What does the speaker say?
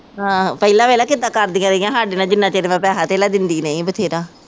ਆਹੋ ਪਹਿਲਾ ਵੇਖ ਲਾ ਕਿਦਾ ਕਰਦੀਆਂ ਰਹੀਆਂ ਸਾਡੇ ਨਾਲ ਜਿੰਨਾ ਚਿਰ ਮੈਂ ਪੈਸਾ ਧੇਲਾ ਦਿੰਦੀ ਰਹੀਂ ਬਥੇਰਾ।